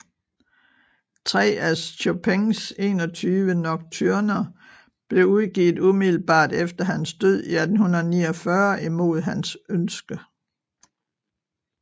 Tre af Chopins 21 Nocturner blev udgivet umiddelbart efter hans død i 1849 imod hans ønske